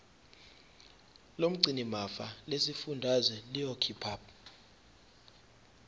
lomgcinimafa lesifundazwe liyokhipha